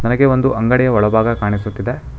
ಹಾಗೆ ಒಂದು ಅಂಗಡಿಯ ಒಳ ಭಾಗ ಕಾಣಿಸುತ್ತಿದೆ.